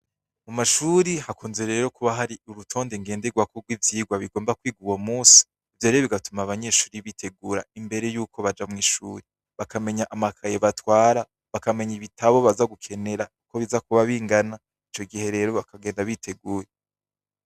Mu mashuri hakunze rero kuba hari urutonde ngenderwako rw’ ivyirwa bigomba kwiguwo musi vyore bigatuma abanyeshuri bitegura imbere yuko baja mw'ishuri bakamenya amakaye batwara bakamenya ibitabo baza gukenera yuko biza kuba bingana ico gihe rero bakagenda biteguya.